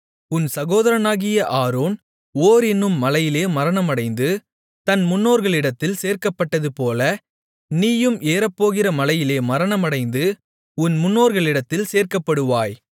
உன் சகோதரனாகிய Aaron Hor என்னும் மலையிலே மரணமடைந்து தன் முன்னோர்களிடத்தில் சேர்க்கப்பட்டதுபோல நீயும் ஏறப்போகிற மலையிலே மரணமடைந்து உன் முன்னோர்களிடத்தில் சேர்க்கப்படுவாய்